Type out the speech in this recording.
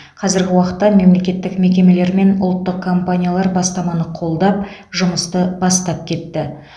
қазіргі уақытта мемлекеттік мекемелер мен ұлттық компаниялар бастаманы қолдап жұмысты бастап кетті